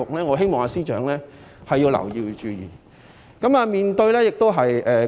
我希望司長要注意國際大格局。